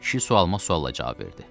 Kişi sualıma sualla cavab verdi.